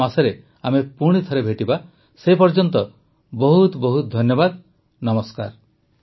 ଆସନ୍ତା ମାସରେ ଆମେ ପୁଣିଥରେ ଭେଟିବା ସେ ପର୍ଯ୍ୟନ୍ତ ବହୁତ ବହୁତ ଧନ୍ୟବାଦ ନମସ୍କାର